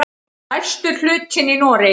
Stærstur hlutinn í Noregi.